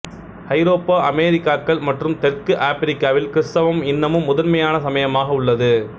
ஐரோப்பா அமெரிக்காக்கள் மற்றும் தெற்கு ஆபிரிக்காவில் கிறிஸ்தவம் இன்னமும் முதன்மையான சமயமாக உள்ளது